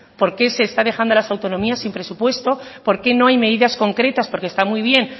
porqué se está dejando a las autonomías sin presupuesto porque no hay medidas concretas porque está muy bien